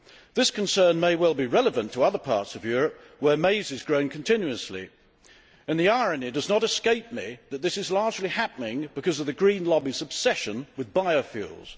This concern may well be relevant to other parts of Europe where maize is grown continuously. The irony does not escape me that this is largely happening because of the green lobby's obsession with biofuels.